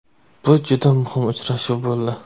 Bu juda muhim uchrashuv bo‘ldi.